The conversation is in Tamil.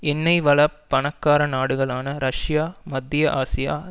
எண்ணெய் வள பணக்கார நாடுகளான ரஷ்யா மத்திய ஆசியா